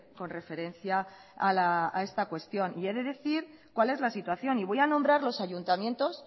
con referencia a esta cuestión he de decir cuál es la situación y voy a nombrar los ayuntamientos